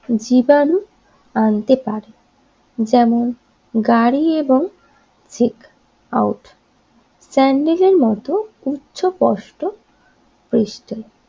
জীবাণু আনতে পারে যেমন গাড়ি এবং ঠিক আউট স্যান্ডেলের মত উচ্চপাষ্ট পৃষ্ঠা